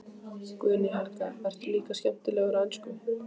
Guðný Helga: Ertu líka skemmtilegur á ensku?